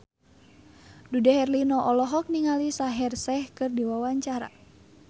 Dude Herlino olohok ningali Shaheer Sheikh keur diwawancara